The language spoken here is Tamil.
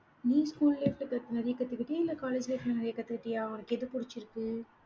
நீ school life ல நிறைய கத்துக்கிட்டியா? இல்ல college life ல நிறைய கத்துக்கிட்டியா? உனக்கு எது பிடிச்சிருக்கு?